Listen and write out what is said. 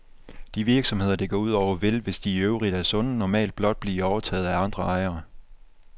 De virksomheder, det går ud over, vil, hvis de i øvrigt er sunde, normalt blot blive overtaget af andre ejere.